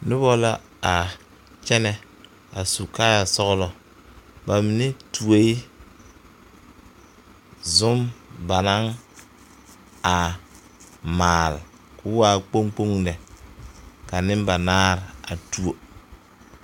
Noba la a kyɛnɛ a su kaaya sɔglɔ ba mine tuie zum ba naŋ a maal ko waa kpoŋ kpoŋ lɛ ka nembanaare a tuo.